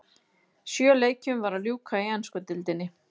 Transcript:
Sjö leikjum var að ljúka í ensku deildinni.